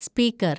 speaker‍